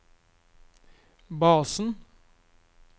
basen